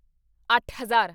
ਅੱਠ ਹਜ਼ਾਰ